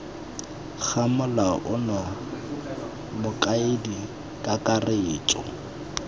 ga molao ono mokaedi kakaretso